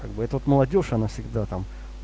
как бы это вот молодёжь она всегда там